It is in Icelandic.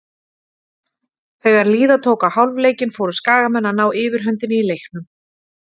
Þegar líða tók á hálfleikinn fóru Skagamenn að ná yfirhöndinni í leiknum.